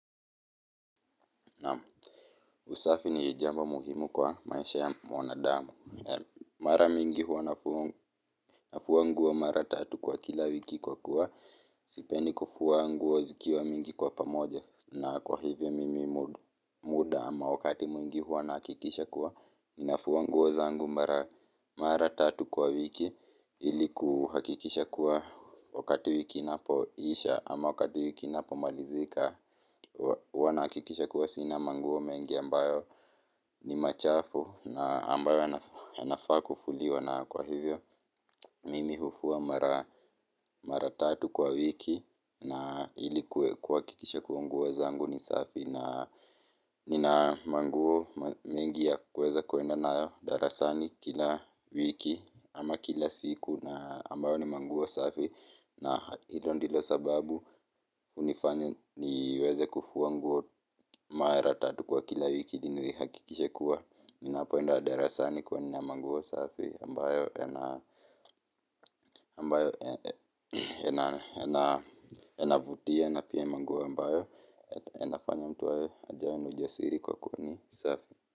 Naam, usafi ni jambo muhimu kwa maisha ya mwanadamu mara mingi huwa nafua nguo mara tatu kwa kila wiki kwa kuwa sipendi kufua nguo zikiwa mingi kwa pamoja. Na kwa hivyo mimi muda ama wakati mwingi huwa nahakikisha kuwa nafua nguo zangu mara, mara tatu kwa wiki ili kuhakikisha kuwa, wakati wiki inapoisha ama wakati wiki inapomalizika huwa nahakikisha kuwa sina manguo mengi ambayo ni machafu na ambayo yanafaa kufuliwa na kwa hivyo mimi hufua mara tatu kwa wiki na ili kuhakikisha kuwa nguo zangu ni safi. Na nina manguo mengi ya kuweza kwenda nayo darasani kila wiki ama kila siku na ambayo ni manguo safi na hilo ndilo sababu hunifanya niweze kufua nguo mara tatu kwa kila wiki ili nihakikishe kuwa ninapoenda darasani kuwa nina manguo safi ambayo yana ambayo yanavutia na pia manguo ambayo yanafanya mtu awe ajione na ujasiri kwa kuwa ni safi.